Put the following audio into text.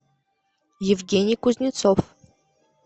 евгений кузнецов